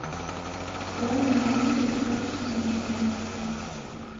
открой мне ленту с о дж симпсоном